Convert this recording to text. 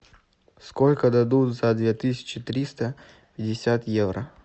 сколько дадут за две тысячи триста пятьдесят евро